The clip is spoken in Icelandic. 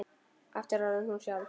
Aftur orðin hún sjálf.